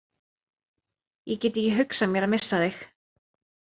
Ég get ekki hugsað mér að missa þig.